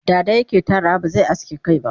dada yake Tarawa ba zai aske Kai ba